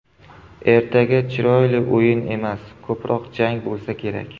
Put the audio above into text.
Ertaga chiroyli o‘yin emas, ko‘proq jang bo‘lsa kerak.